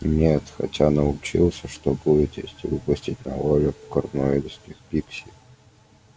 нет хотя научился что будет если выпустить на волю корнуэльских пикси